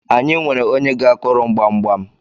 anyị nwere onye ga-akuru m gbamgbam